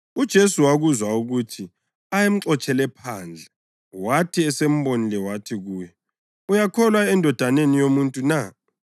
UJesu wakuzwa ukuthi ayemxotshele phandle, wathi esembonile wathi kuye, “Uyakholwa eNdodaneni yoMuntu na?”